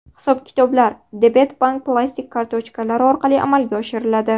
Hisob-kitoblar debet bank plastik kartochkalari orqali amalga oshiriladi.